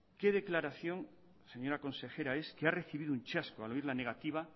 qué declaración es señora consejera que ha recibido un chasco al oír la negativa